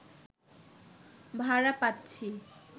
ভাড়া পাচ্ছি